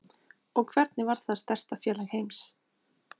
Og hvernig varð það stærsta félag heims?